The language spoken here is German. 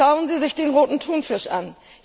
Schauen Sie sich den Roten Thunfisch an.